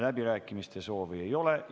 Läbirääkimiste soovi ei ole.